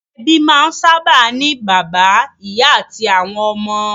Ẹbí máa ń sábà ní bàbá, ìyá àti àwọn ọmọ.